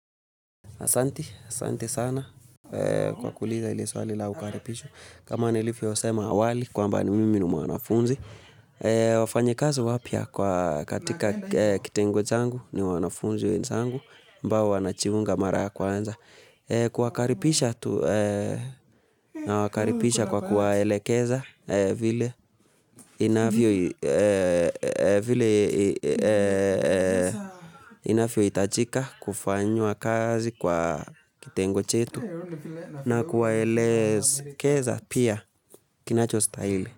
Asanti, asante sana kwa kuuliza hilo swali la ukaribisho kama nilivyosema awali kwamba ni mimi ni mwanafunzi. Wafanyi kazi wapya katika kitengo changu ni wanafunzi wenzangu ambao wanajiunga mara ya kwanza. Kuwakaribisha tu, nawakaribisha kwa kuwaelekeza vile vile inavyo hitajika kufanywa kazi kwa kitengo chetu na kuwaelekeza pia kinacho stahili.